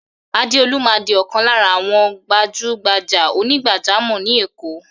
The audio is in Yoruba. Adeolu máa di ọ̀kan lára àwọn gbajúgbajà onígbàjámọ̀ ni Èkó.